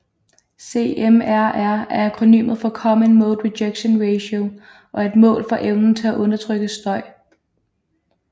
CMRR er akronymet for Common Mode Rejection Ratio og er et mål for evnen til at undertrykke støj